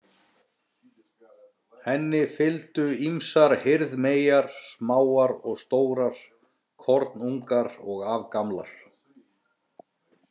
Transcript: Henni fylgdu ýmsar hirðmeyjar, smáar og stórar, kornungar og afgamlar.